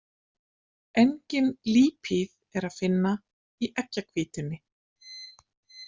Engin lípíð er að finna í eggjahvítunni.